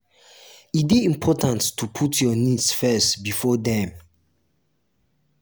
e de important to put your needs first before dem